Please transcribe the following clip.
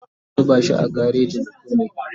zamu zuba shi a gareji mu kulle